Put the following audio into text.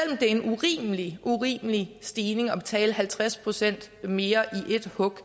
det er en urimelig urimelig stigning at betale halvtreds procent mere i ét hug